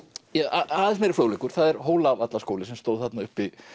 aðeins meiri fróðleikur það er Hólavallaskóli sem stóð þarna uppi